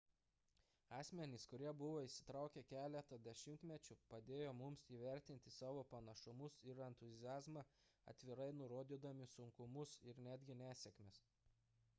asmenys kurie buvo įsitraukę keletą dešimtmečių padėjo mums įvertinti savo pranašumus ir entuziazmą atvirai nurodydami sunkumus ir netgi nesėkmes